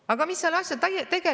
Aga mis tegelikult selle taga on?